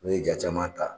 N'o ye ja caman ta